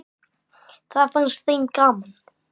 Það fannst þeim gaman.